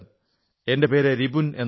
എന്റെ പേര് രിപുൻ എന്നാണ്